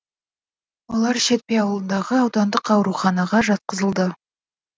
олар шетпе ауылындағы аудандық ауруханаға жатқызылды